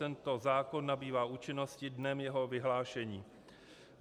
Tento zákon nabývá účinnosti dnem jeho vyhlášení.